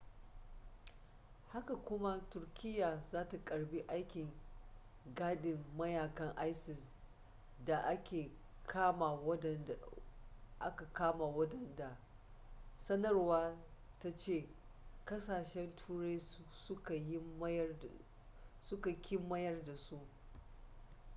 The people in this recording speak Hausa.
haka kuma turkiyya za ta karbi aikin gadin mayakan isis da aka kama waɗanda sanarwar ta ce kasashen turai suka ki mayar da su